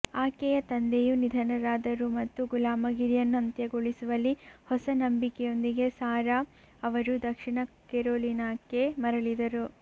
ಆಕೆಯ ತಂದೆಯು ನಿಧನರಾದರು ಮತ್ತು ಗುಲಾಮಗಿರಿಯನ್ನು ಅಂತ್ಯಗೊಳಿಸುವಲ್ಲಿ ಹೊಸ ನಂಬಿಕೆಯೊಂದಿಗೆ ಸಾರಾ ಅವರು ದಕ್ಷಿಣ ಕೆರೊಲಿನಾಕ್ಕೆ ಮರಳಿದರು